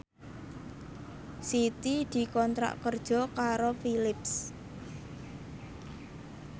Siti dikontrak kerja karo Philips